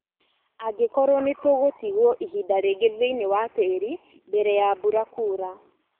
angĩkorwo nĩtũgũtigwo ihinda rĩngĩ thĩinĩ wa tĩri mbere ya mbura kura